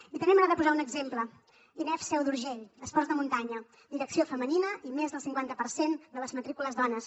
i també m’agrada posar un exemple inefc seu d’urgell esports de muntanya direcció femenina i més del cinquanta per cent de les matrícules dones